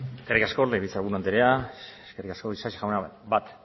eskerrik asko legebiltzar buru andrea isasi jauna bat